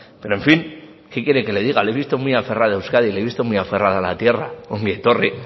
pero en fin qué quiere que le diga le he visto muy aferrada a euskadi le he visto muy aferrada a la tierra ongi etorri